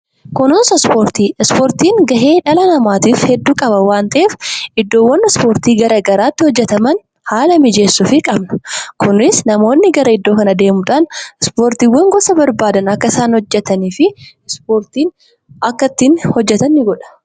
Kunuunsa Ispoortii: Ispoortiin gahee dhala namaatiif hedduu qaba waan ta'eef, iddoowwan ispoortii gara garaatti hojjetaman haala mijeessuufii qabna. Kunis namoonni gara iddoo kana deemuudhaan ispoortiiwwan gosa barbaadan akka isaan hojjetanii fi ispoortiin akka ittiin hojjetan ni godha.